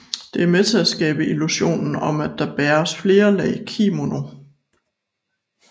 Det er med til at skabe illusionen om at der bæres flere lag kimono